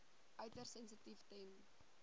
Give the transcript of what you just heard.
uiters sensitief ten